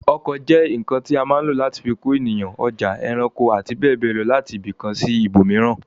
Ọkọ̀ jẹ́ ǹǹkan tí a má lò láti fi kó èèyàn, ọjà, ẹranko, àti bẹ́ẹ̀bẹ́ẹ̀ lọ láti ibìkan sí ibòmíràn